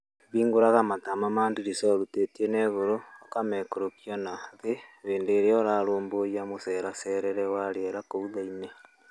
Hingũraga matama ma ndirica ũrutĩtie na igũrũ ũkamaikũrũkia na thĩ hĩndĩ ĩrĩa ũrarũmbũiya mũceracerere wa rĩera kũu thĩinĩ.